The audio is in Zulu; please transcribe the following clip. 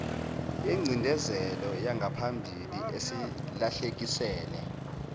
yengcindezelo yangaphambili esilahlekisele